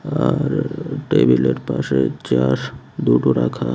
আ আর টেবিলের পাশে চেয়ার দুটো রাখা।